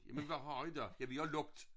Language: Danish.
Jamen hvad har i da ja vi har lukket